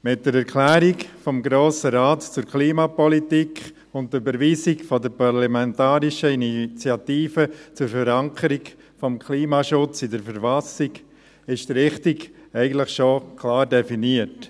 Mit der Erklärung des Grossen Rates zur Klimapolitik und der Überweisung der Parlamentarischen Initiative zur Verankerung des Klimaschutzes in der Verfassung des Kantons Bern (KV) ist die Richtung eigentlich schon klar definiert.